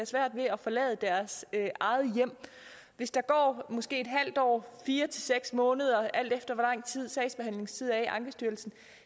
svært ved at forlade deres eget hjem hvis der går fire seks måneder alt efter hvor lang tid sagsbehandlingstiden er i ankestyrelsen